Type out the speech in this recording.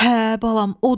Hə balam odur.